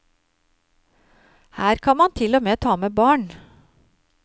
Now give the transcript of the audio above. Her kan man til og med ta med barn.